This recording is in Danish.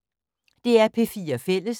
DR P4 Fælles